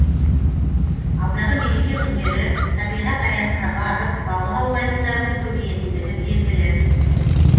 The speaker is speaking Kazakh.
алдағы мереке күндері табиғат аясына барып балық аулайтындардың көбейетіндігі белгілі